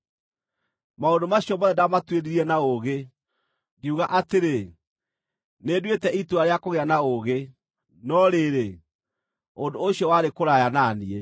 Maũndũ macio mothe ndamatuĩririe na ũũgĩ, ngiuga atĩrĩ, “Nĩnduĩte itua rĩa kũgĩa na ũũgĩ.” No rĩrĩ, ũndũ ũcio warĩ kũraya na niĩ.